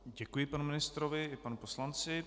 Děkuji panu ministrovi i panu poslanci.